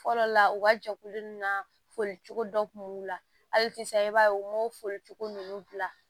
Fɔlɔ la u ka jɛkulu nin na foli cogo dɔ kun la hali sisan i b'a ye u m'o foli cogo nunnu bila